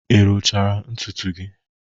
Ị rụchara ntutu gị?